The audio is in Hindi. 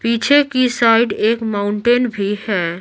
पीछे की साइड एक माउंटेन भी है।